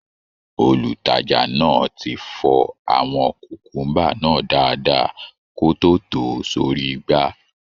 Olùtajà náà ti fọ àwọn kùkùḿbà náà dáadáa kó tó tò ó sórí igbá